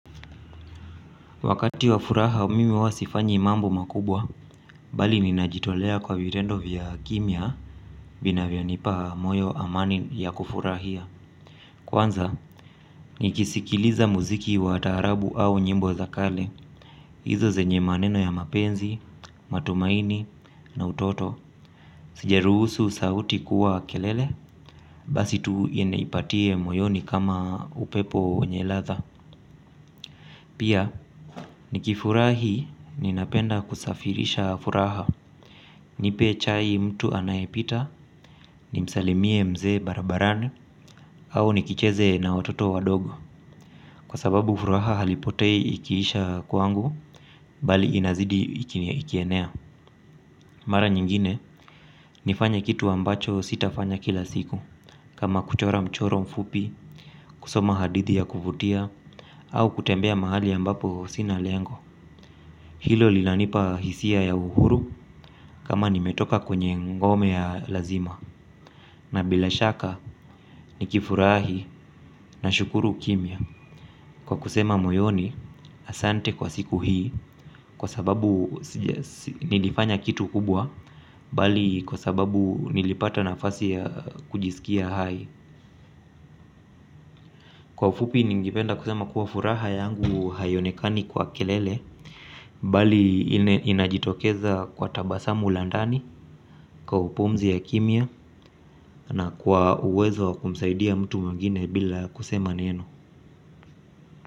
Wakati wa furaha mimi huwa sifanyi mambo makubwa, bali ninajitolea kwa vitendo vya kimya vina vyonipa moyo amani ya kufurahia. Kwanza, nikisikiliza muziki wa taarabu au nyimbo za kale, hizo zenye maneno ya mapenzi, matumaini na utoto. Sijaruhusu sauti kuwa kelele, basi tu inipatie moyoni kama upepo yenye ladha. Pia, nikifurahi ninapenda kusafirisha furaha, nipe chai mtu anayepita, nimsalimie mzee barabarani, au nikicheze na wototo wadogo. Kwa sababu furaha alipotei ikiisha kwangu, bali inazidi ikienea. Mara nyingine, nifanya kitu ambacho sitafanya kila siku, kama kuchora mchoro mfupi, kusoma hadithi ya kuvutia, au kutembea mahali ambapo sina lengo. Hilo linanipa hisia ya uhuru kama nimetoka kwenye ngome ya lazima. Na bila shaka nikifurahi nashukuru kimya. Kwa kusema moyoni asante kwa siku hii. Kwa sababu nilifanya kitu kubwa. Bali kwa sababu nilipata nafasi ya kujisikia hai. Kwa ufupi ningependa kusema kuwa furaha yangu haionekani kwa kelele. Bali inajitokeza kwa tabasamu la ndani. Kwa upumzi ya kimya na kwa uwezo wa kumsaidia mtu mwigine bila kusema neno.